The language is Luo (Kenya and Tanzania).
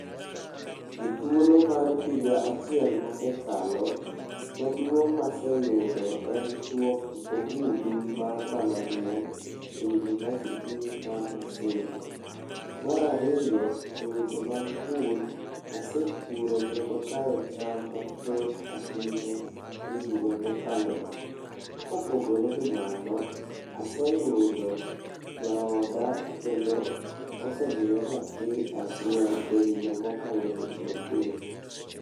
E thuolo mar higa achiel mosekalo, madungo' maseyudo en chuop ogudu mar mbalariany e university mar Maseno, marariyo e weche mag pur, asepuro kendo kayo cham mathoth ahinya e higa mokalono, kopogore gi mano aseyudo jaoda kendo osemiya nyathi achiel e higa mo okalono ende.